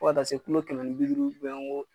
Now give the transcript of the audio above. Fo ka taa se kɛmɛ ni bi duuru .